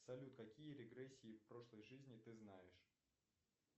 салют какие регрессии в прошлой жизни ты знаешь